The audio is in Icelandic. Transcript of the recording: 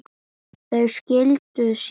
Þau skildu síðar.